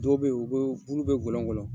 Dɔw be in u be bulu bɛ gɔnlɔngɔnlɔn